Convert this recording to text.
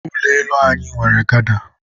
ụlọ elu anyị nwere gada.